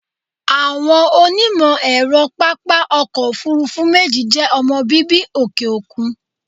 Àwọn onímọ̀ ẹ̀rọ pápá ọkọ̀ òfúrúfú méjì jẹ́ ọmọ bíbí òkè òkun.